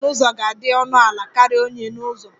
Mass n'ụzọ ga-adị ọnụ ala karịa onye n'ụzọ